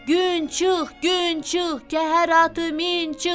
Gün çıx, gün çıx, kəhər atı min çıx,